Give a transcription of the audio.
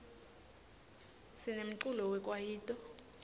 sinemculo we kwayito